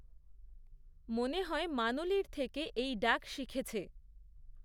মনে হয়, মানুলির থেকে এই ডাক শিখেছে।